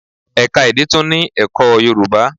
Ẹ̀ka èdè tún ní ẹ̀kọ́ Yorùbá.